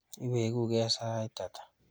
Iweku ke sait ata?